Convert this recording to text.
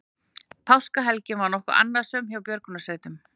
Páskahelgin var nokkuð annasöm hjá björgunarsveitum